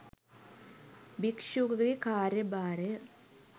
භික්‍ෂුවකගේ කාර්ය භාරය